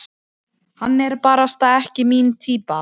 Hann er barasta ekki mín týpa.